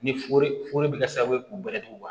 Ni foriforo bɛ kɛ sababu ye k'u bɛrɛtu